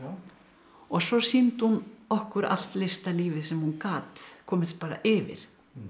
og svo sýndi hún okkur allt listalífið sem hún gat komist yfir